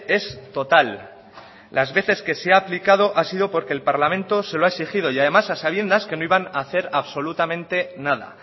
es total las veces que se ha aplicado ha sido porque el parlamento se lo ha exigido y además a sabiendas que no iban a hacer absolutamente nada